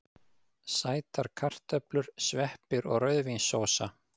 Sætar kartöflur, sveppir og rauðvínssósa.